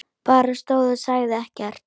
Bara stóð og sagði ekkert.